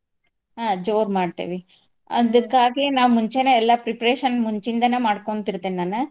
ಹ್ಮ್ ಜೋರ್ ಮಾಡ್ತಿವಿ, ಅದಕ್ಕಾಗಿ ನಾವ್ ಮುಂಚೆನೆ ಎಲ್ಲಾ preparation ಮುಂಚಿಂದ ಮಾಡ್ಕೊಂತ್ ಇರ್ತೇನ್ ನಾನ್.